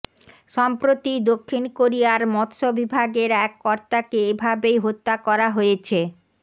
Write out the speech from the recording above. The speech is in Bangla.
সম্প্রতি দক্ষিণ কোরিয়ার মৎস বিভাগের এক কর্তাকে এভাবেই হত্যা করা হয়েছে